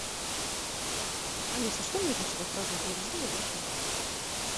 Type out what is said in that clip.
алиса что нужно чтобы отпраздновать день рождения в нашем отеле